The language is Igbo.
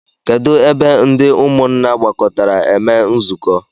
Kedụ ebe ndị ụmụnna gbakọtara eme nzukọ?